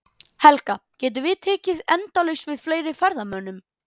Helga, getum við tekið endalaust við fleiri ferðamönnum?